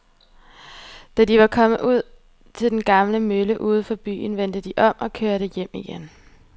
Da de var kommet ud til den gamle mølle uden for byen, vendte de om og kørte hjem igen.